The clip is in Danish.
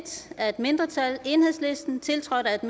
af et mindretal tiltrådt af et